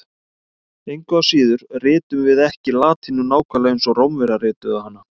Engu að síður ritum við ekki latínu nákvæmlega eins og Rómverjar rituðu hana.